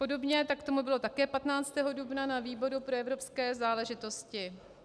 Podobně tak tomu bylo také 15. dubna na výboru pro evropské záležitosti.